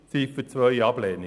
Ziffer 2 Ablehnung.